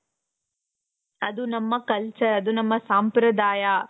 ಅದು ನಮ್ಮ culture ನಮ್ಮ ಸಾಂಪ್ರದಾಯ.